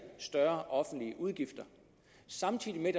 større offentlige udgifter samtidig med